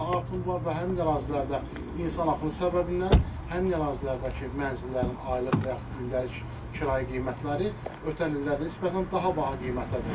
Həmin ərazilərdə insan axını səbəbindən həmin ərazilərdəki mənzillərin aylıq və yaxud gündəlik kirayə qiymətləri ötən illərə nisbətən daha baha qiymətədir.